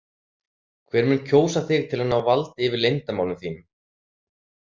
Hver mun kjósa þig til að ná valdi yfir leyndarmálum þínum?